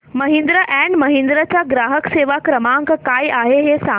Mahindra and Mahindra चा ग्राहक सेवा क्रमांक काय आहे हे सांगा